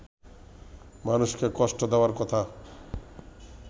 মানুষকে কষ্ট দেওয়ার কথা